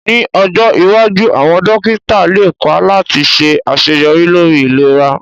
Ní ọjọ́ iwájú àwọn dókítà lépa láti ṣe àṣeyọrí lórí ìlera